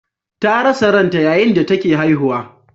Ta rasa ranta yayin da take haihuwa.